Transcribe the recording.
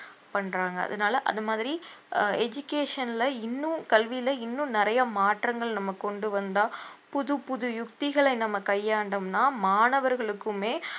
பண்றாங்க அதனால அது மாதிரி ஆஹ் education ல இன்னும் கல்வியில இன்னும் நிறைய மாற்றங்கள் நம்ம கொண்டு வந்தா புது புது யுக்திகளை நம்ம கையாண்டோம்னா மாணவர்களுக்குமே